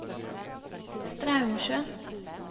Straumsjøen